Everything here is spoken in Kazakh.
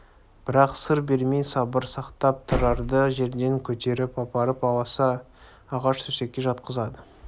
бірақ сыр бермей сабыр сақтап тұрарды жерден көтеріп апарып аласа ағаш төсекке жатқызды